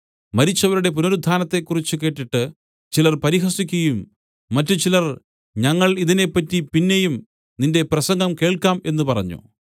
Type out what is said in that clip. മരിച്ചവരുടെ പുനരുത്ഥാനത്തെക്കുറിച്ച് കേട്ടിട്ട് ചിലർ പരിഹസിക്കുകയും മറ്റുചിലർ ഞങ്ങൾ ഇതിനെപ്പറ്റി പിന്നെയും നിന്റെ പ്രസംഗം കേൾക്കാം എന്നു പറഞ്ഞു